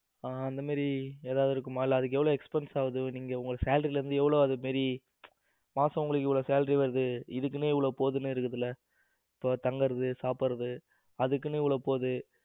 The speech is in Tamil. ஹம் அந்த மாதிரி ஏதாவது இருக்குமா இல்ல அதுக்கு எவ்ளோ expenses ஆகுது நீங்க உங்க salary இருந்து எவ்வளவு அது மாதிரி மாசம் உங்களுக்கு இவ்வளவு salary வருது இதுக்குன்னு இவ்வளவு போது அப்படி இருக்குதுல்ல இப்ப தங்கறது சாப்பிடறது அதுக்குன்னு இவ்ளோ போது